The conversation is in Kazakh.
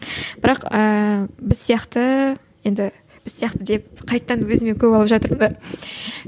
бірақ ііі біз сияқты енді біз сияқты деп қайтадан өзіме көп алып жатырмын да